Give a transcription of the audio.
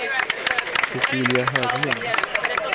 Cecilia Höglund